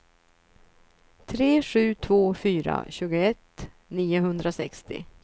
tre sju två fyra tjugoett niohundrasextio